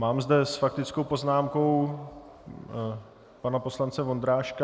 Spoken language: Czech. Mám zde s faktickou poznámkou pana poslance Vondráška?